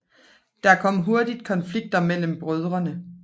Der kom hurtigt konflikter mellem brødrene